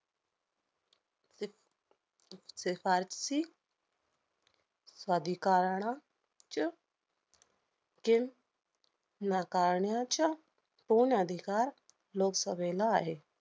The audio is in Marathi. शिफारसी अधिकारण च्य~ नकारण्याच्या पूर्ण अधिकार लोकसभेला आहे.